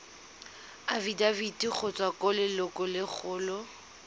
afitafiti go tswa go lelokolegolo